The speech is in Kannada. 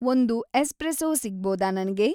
ಒಂದು ಎಸ್ಪ್ರೆಸೊ ಸಿಗಬೋದಾ ನನಗೆ